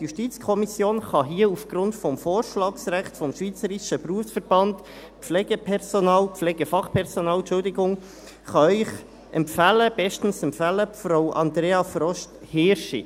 Die JuKo kann hier aufgrund des Vorschlagsrechts des Schweizer Berufsverbands der Pflegefachfrauen und Pflegefachmänner (SBK) empfehlen, bestens empfehlen: Frau Andrea Frost-Hirschi.